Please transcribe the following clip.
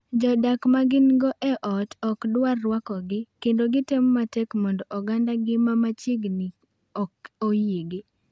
Jodak ma gin-go e ot ok dwar rwakogi kendo gitemo matek mondo ogandagi ma machiegni ok oyiegi.